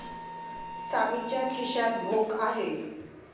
सामीच्या खिश्यात भोक आहे.